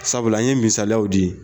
Sabula, an ye misaliyaw di.